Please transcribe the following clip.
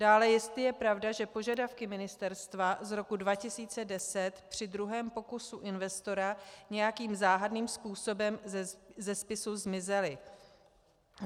Dále jestli je pravda, že požadavky ministerstva z roku 2010 při druhém pokusu investora nějakým záhadným způsobem ze spisu zmizely.